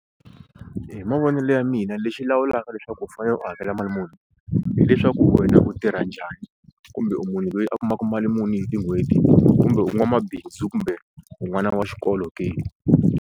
Hi mavonelo ya mina lexi lawulaka leswaku u fanele u hakela mali muni hileswaku wena u tirha njhani kumbe u munhu loyi a kumaka mali muni hi tin'hweti kumbe u n'wamabindzu kumbe u n'wana wa xikolo ke.